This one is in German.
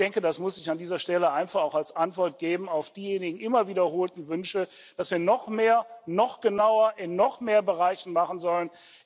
Und ich denke, das muss ich an dieser Stelle einfach auch als Antwort geben auf diejenigen immer wiederholten Wünsche, dass wir noch mehr noch genauer und in noch mehr Bereichen machen sollen.